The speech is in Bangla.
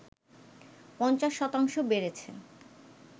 ৫০ শতাংশ বেড়েছে